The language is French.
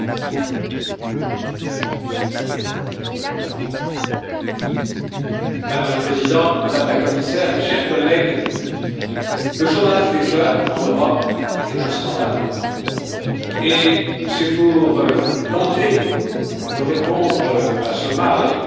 Madame la Présidente, Madame la Commissaire, mes chers collègues, le chômage des jeunes en Europe est un scandale et c'est pour tenter de répondre à ce mal, à ce fléau, que nos chefs d'État ou de gouvernement en 2013 ont imaginé le programme